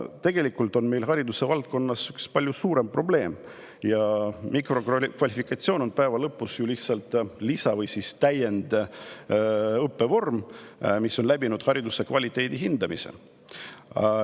Tegelikult on meil haridusvaldkonnas üks palju suurem probleem, ja mikrokvalifikatsioon on päeva lõpus lihtsalt lisa‑ või täiendõppevorm, mis on läbinud hariduse kvaliteedi hindamise.